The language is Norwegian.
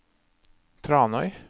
Tranøy